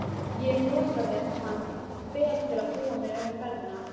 Ég notaði hann vel til að búa mig undir ferðina.